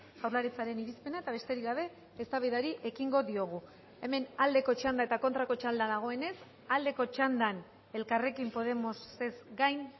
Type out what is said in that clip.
jaurlaritzaren irizpena eta besterik gabe eztabaidari ekingo diogu hemen aldeko txanda eta kontrako txanda dagoenez aldeko txandan elkarrekin podemosez gain